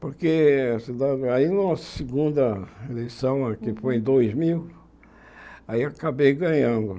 Porque a cidade aí na segunda eleição, a que foi em dois mil, aí acabei ganhando.